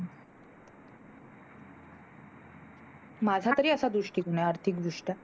माझ्यातरी असा दृष्टिकोन आहे आर्थिक दृष्ट्या